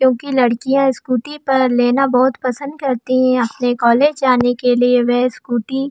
क्यूंकि लड़की स्कूटी लेना बहोत पसंद करती है अपने कॉलेज जाने के लिए। वेह स्कूटी --